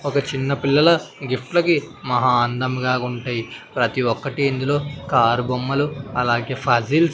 ఒక చిన్న పిల్లల గిఫ్ట్లకి మహా అందంగా ఉంటే ప్రతి ఒక్కటీ ఇందులో కారు బొమ్మలు అలాగే ఫాసిల్ .